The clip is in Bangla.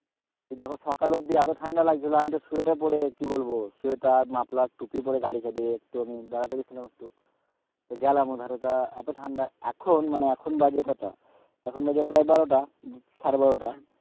এই দেখো সকাল অব্দি এত ঠান্ডা লাগছিলো আমি তো সোয়েটার পরে কি বলবো সোয়েটার, মাফলার, টুপি পরে গাড়ি চালিয়ে একটু আমি বেড়াতে গেছিলাম একটু তো গেলাম তা ওখানে তা এত ঠান্ডা এখন মানে এখন বাজে কটা এখন বাজে প্রায় বারোটা সাড়ে বারোটা